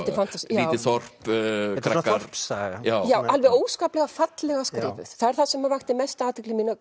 lítið þorp krakkar þorpssaga alveg óskaplega fallega skrifuð það er það sem vakti mesta athygli mína